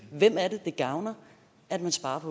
hvem er det det gavner at man sparer